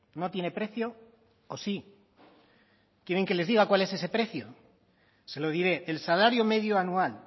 no tiene precio o sí quieren que les diga cuál es ese precio se lo diré el salario medio anual